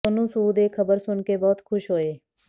ਸੋਨੂੰ ਸੂਦ ਇਹ ਖਬਰ ਸੁਣ ਕੇ ਬਹੁਤ ਖੁਸ਼ ਹੋਏ